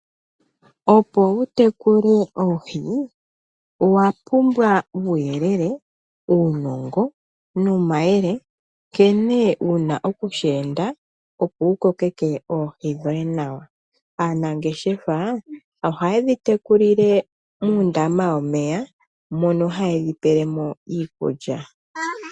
Opo wu tekule oohi, owa pumbwa uuyelele, uunongo nomayele nkene wu na okusheenda, opo wu kokeke oohi dhoye nawa. Aanangeshefa ohaye dhi tekulile muundama womeya mono haye dhi pele mo iikulya.